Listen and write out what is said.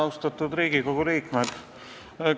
Austatud Riigikogu liikmed!